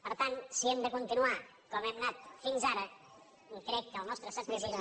per tant si hem de continuar com hem anat fins ara crec que el nostre escepticisme